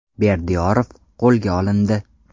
Berdiyorov qo‘lga olindi.